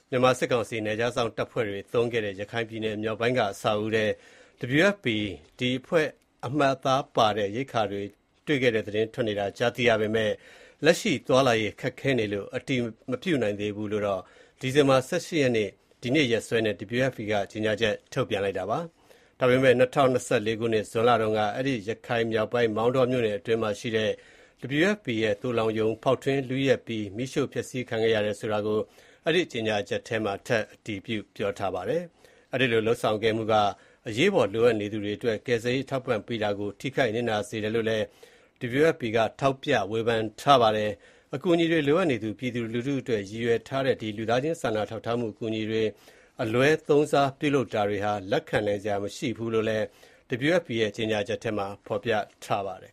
မြန်မာစစ်ကောင်စီ နယ်ခြားစောင့်တပ်ဖွဲ့တွေ အသုံးပြုခဲ့တဲ့ ရခိုင်ပြည်နယ်မြောက်ပိုင်းက အဆောက်အဦးတခုထဲမှာ WFP ကမ္ဘာ့စားနပ်ရိက္ခာအဖွဲ့ အမှတ်အသားတွေပါတဲ့ ရိက္ခာတွေ တွေ့ရတယ်ဆိုတဲ့ သတင်းတွေ ထွက်ပေါ်နေတာကို ကြားသိရပေမယ့် လက်ရှိမှာ သွားလာရေး ခက်ခဲနေသေးတဲ့အတွက် ဒီကိစ္စကို အတည်မပြုနိုင်သေးကြောင်း ဒီဇင်ဘာ ၁၈ ရက်၊ ဒီကနေ့ရက်စွဲနဲ့ WFP က ကြေညာချက် ထုတ်ပြန်ပါတယ်။ ဒါပေမယ့် ၂၀၂၄ ခုနှစ်၊ ဇွန်လတုန်းက အဲဒီ ရခိုင်မြောက်ပိုင်း မောင်တောမြို့နယ်အတွင်းမှာရှိတဲ့ WFP ရဲ့ သိုလှောင်ရုံ ဖောက်ထွင်း လုယက်ပြီး မီးရှို့ဖျက်ဆီးခံခဲ့ရတယ်ဆိုတာကို အဲဒီ ကြေညာချက်မှာ အတည်ပြု ပြောဆိုထားပါတယ်။ အဲဒီလို လုပ်ဆောင်ခဲ့မှုအတွက် အရေးပေါ် လိုအပ်နေသူတွေအတွက် ကယ်ဆယ်ရေး အထောက်အပံ့တွေ ထိခိုက် နစ်နာစေတယ်လို့ ဆိုပါတယ်။ အကူအညီလိုအပ်နေသူ ပြည်သူလူထုအတွက် ရည်ရွယ်ထားတဲ့ ဒီ လူသားချင်းစာနာထောက်ထားမှု အကူအညီတွေ အလွဲသုံးစား ပြုလုပ်တာတွေဟာ လက်ခံနိုင်စရာမရှိကြောင်းလည်း WFP ရဲ့ ကြေညာချက်မှာ ဖော်ပြထားပါတယ်